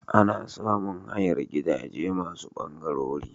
Ana samun hayar gidaje masu bangarori.